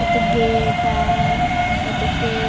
ओती गेट आहे ओती के --